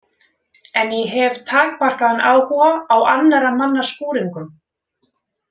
En ég hef takmarkaðan áhuga á annarra manna skúringum.